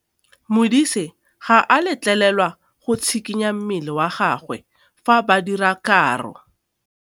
Modise ga a letlelelwa go tshikinya mmele wa gagwe fa ba dira karô.